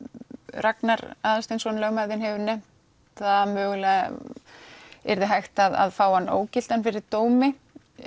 Ragnar Aðalsteinsson lögmaður þinn hefur nefnt að mögulega yrði hægt að fá hann ógildan fyrir dómi